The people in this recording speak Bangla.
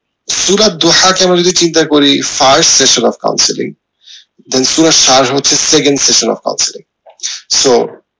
সূরার দোহাকে আমরা যদি চিন্তা করি so